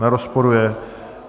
Nerozporuje.